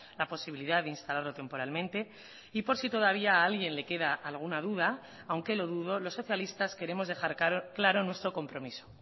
la posibilidad de instalarlo temporalmente y por si todavía a alguien le queda alguna duda aunque lo dudo los socialistas queremos dejar claro nuestro compromiso